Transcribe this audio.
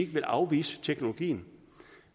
vil afvise teknologien